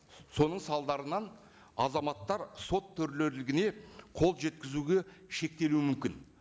соның салдарынан азаматтар сот төрелігіне қолжеткізуге шектелуі мүмкін